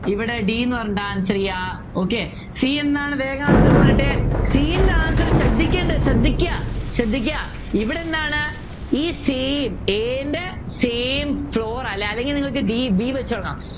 ഇവിടെ d ന്നു പറഞ്ഞിട്ട് Answer ചെയ്യാം okay c എന്താണ് വേഗം Answer പോരട്ടെ c ൻ്റെ Answer ശ്രദ്ധിക്കേണ്ടത് ശ്രദ്ധയ്ക്ക ശ്രദ്ധയ്ക്ക ഇവിടെന്താണ് ഈ same a ൻ്റെ same floor ആ അല്ലെങ്കിൽ നിങ്ങൾക്ക് d b വെച്ച് തുടങ്ങാം